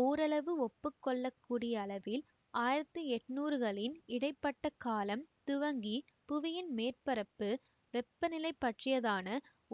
ஓரளவு ஒப்பு கொள்ள கூடிய அளவில் ஆயிரத்தி எண்ணூறுகளின் இடை பட்ட காலம் துவங்கி புவியின் மேற்பரப்பு வெப்ப நிலை பற்றியதான